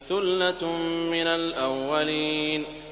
ثُلَّةٌ مِّنَ الْأَوَّلِينَ